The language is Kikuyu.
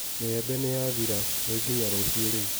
Mĩembe nĩ yathira, nĩ nginya rũcio rĩu.